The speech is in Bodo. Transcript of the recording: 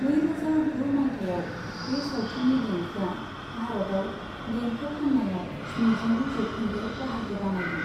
नैरोजा गु मायथाइयाव बे सावथुननि देंखोआ भारतआव देंखो फाननायाव स्निजिनै जौखोन्दो बाहागो बानायदों।